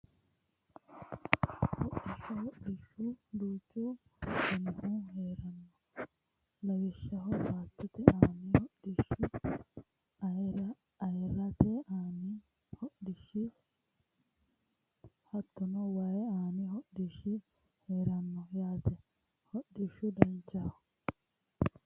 Hodhishsha hodhishshu duuchu danihu heeranno lawishsha baattote aani hodhishshi ayyarete aani hodhishshi hattono wayi aaani hodhishshi heeranno yaate hodhishshu danchaho